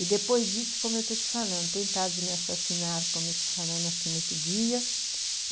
E depois disso, como eu estou te falando, tentaram de me assassinar, como eu estou te falando, assim, nesse dia.